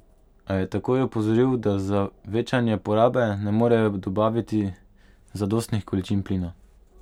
A je takoj opozoril, da za večanje porabe ne morejo dobaviti zadostnih količin plina.